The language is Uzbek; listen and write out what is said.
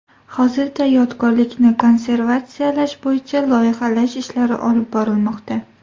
Hozirda yodgorlikni konservatsiyalash bo‘yicha loyihalash ishlari olib borilmoqda.